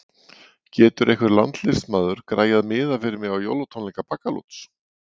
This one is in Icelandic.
Getur einhver landsliðsmaður græjað miða fyrir mig á jólatónleika Baggalúts?